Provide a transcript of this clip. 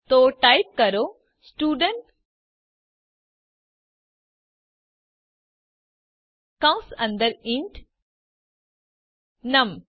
તો ટાઇપ કરો સ્ટુડન્ટ કૌસ અંદર ઇન્ટ નમ